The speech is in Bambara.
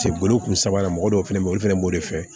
Se boli kun sabanan mɔgɔ dɔw fɛnɛ be yen olu fɛnɛ b'o de fɛ